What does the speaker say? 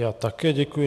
Já také děkuji.